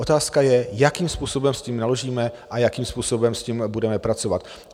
Otázka je, jakým způsobem s tím naložíme a jakým způsobem s tím budeme pracovat.